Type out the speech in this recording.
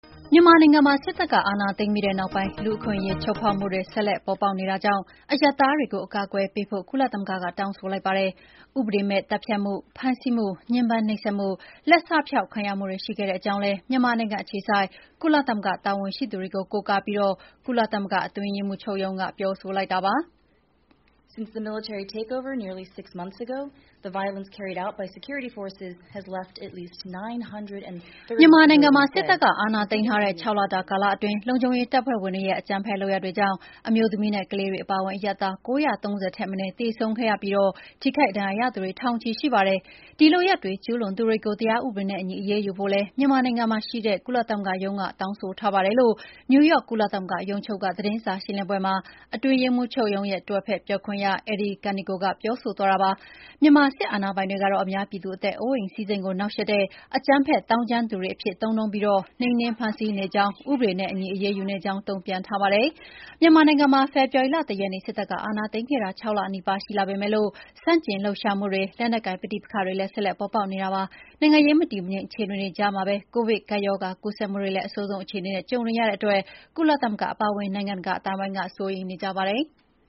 မြန်မာနိုင်ငံမှာ စစ်တပ်က အာဏာသိမ်းပြီးနောက်ပိုင်း လူ့အခွင့်အရေး ချိုးဖောက်မှုတွေ ဆက်လက် ပေါ်ပေါက်နေတာကြောင့် အရပ်သားတွေကို အကာအကွယ်ပေးဖို့ ကုလသမဂ္ဂက တောင်းဆိုလိုက်ပါတယ်။ ဥပဒေမဲ့ သတ်ဖြတ်မှု၊ ဖမ်းဆီးမှု၊ ညှင်းပမ်းနှိပ်စက်မှု၊ လက်စဖျောက်ခံရမှုတွေ ရှိခဲ့ကြောင်းလည်း မြန်မာနိုင်ငံအခြေစိုက် ကုလသမဂ္ဂ တာဝန်ရှိသူတွေကို ကိုးကားပြီး ကုလသမဂ္ဂ အတွင်းရေးမှူးချုပ်ရုံးက ပြောဆိုလိုက်တာပါ။ "မြန်မာနိုင်ငံမှာ စစ်တပ်က အာဏာသိမ်းထားတဲ့ ၆လတာကာလအတွင်း လုံခြုံရေးတပ်ဖွဲ့ဝင်တွေရဲ့ အကြမ်းဖက် လုပ်ရပ်တွေကြောင့် အမျိုးသမီးနဲ့ ကလေးတွေ အပါအဝင် အရပ်သား ၉၃၀ ထက်မနည်း သေဆုံးခဲ့ရပြီး၊ ထိခိုက်ဒဏ်ရာရသူ ထောင်ချီရှိပါတယ်။ ဒီလုပ်ရပ်တွေ ကျုးလွန်သူတွေကို တရားဥပဒေနဲ့အညီ အရေးယူဖို့လည်း မြန်မာနိုင်ငံမှာရှိတဲ့ ကုလသမဂ္ဂရုံးက တောင်းဆိုထားပါတယ်။" လို့ နယူးယောက် ကုလသမဂ္ဂ ရုံးချုပ်က သတင်းစာရှင်းလင်းပွဲမှာ အတွင်းရေးမှူးချုပ်ရဲ့ လက်ထောက်ပြောခွင့်ရ Eri Kaneko က ပြောဆိုသွားတာပါ။ မြန်မာစစ်အာဏာပိုင်တွေကတော့ အများပြည်သူအသက်အိုးအိမ်စည်းစိမ်ကို နှောင့်ယှက်တဲ့ အကြမ်းဖက် သောင်းကျန်းသူတွေအဖြစ် သုံးနှုန်းပြီး၊ နှိမ်နင်းဖမ်းဆီးနေကြောင်းနဲ့ ဥပဒေနဲ့အညီ အရေးယူနေကြောင်း တုံ့ပြန်ထားပါတယ်။ မြန်မာနိုင်ငံမှာ ဖေဖော်ဝါရီလ ၁ ရက်နေ့ စစ်တပ်က အာဏာသိမ်းခဲ့တာ ၆ လနီးပါး ရှိလာပေမဲ့ ဆန့်ကျင်လှုပ်ရှားမှုတွေ၊ လက်နက်ကိုင် ပဋိပက္ခတွေလည်း ဆက်လက်ပေါ်ပေါက်နေတာပါ။ နိုင်ငံရေး မတည်မငြိမ် အခြေအနေတွေကြားမှာပဲ ကိုဗစ်ကပ်ရောဂါ ကူးစက်မှုတွေလည်း အဆိုးဆုံးအခြေအနေနဲ့ ကြုံနေရတဲ့အတွက် ကုလသမဂ္ဂ အပါအဝင် နိုင်ငံတကာ အသိုင်းအဝန်းက စိုးရိမ်နေကြပါတယ်။